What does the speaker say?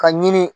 Ka ɲini